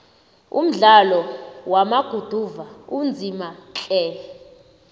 umdlalo wama guduva unzima tle